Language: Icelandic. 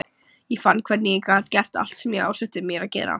Ég fann hvernig ég gat gert allt sem ég ásetti mér að gera.